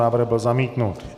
Návrh byl zamítnut.